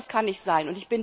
So etwas kann nicht sein!